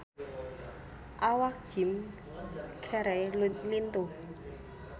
Awak Jim Carey lintuh